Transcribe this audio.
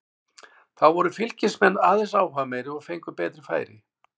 Þó voru Fylkismenn aðeins áhugameiri og fengu betri færi.